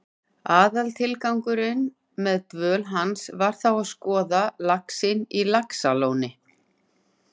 Aðaltilgangurinn með dvöl hans var þó að skoða laxinn á Laxalóni.